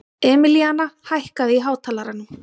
Emilíana, hækkaðu í hátalaranum.